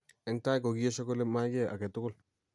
Eng tai kokiesho kole mayai kiy age tugul